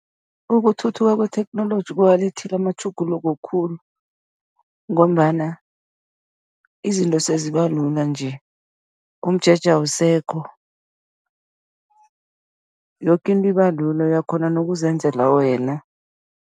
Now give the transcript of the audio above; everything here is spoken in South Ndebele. Ukuthuthuka kwetheknoloji kuwalethile amatjhuguluko khulu ngombana izinto seziba lula nje, umjeje awusekho, yoke into ibalula, uyakghona nokuzenzela wena.